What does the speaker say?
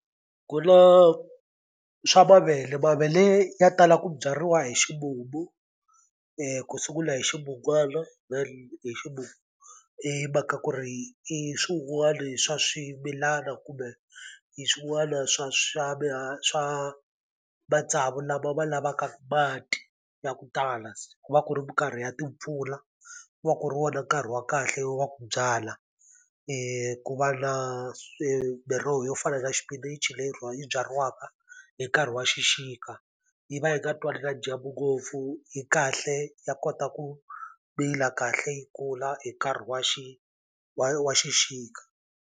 Ku na swa mavele mavele ya tala ku byariwa hi ximumu ku sungula hi ximunwana hi ximumu himhaka ku ri i swin'wani swa swimilana kumbe hi swin'wana swa swa swa matsavu lama ma lavaka mati ya ku tala ku va ku ri minkarhi ya timpfula ku va ku ri wona nkarhi wa kahle wa ku byala ku va na miroho yo fana na xipinichi leyi yi byariwaka hi nkarhi wa xixika yi va yi nga twani na dyambu ngopfu yi kahle ya kota ku mila kahle yi kula hi nkarhi wa wa wa xixika.